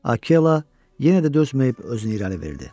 Akela yenə də dözməyib özünü irəli verdi.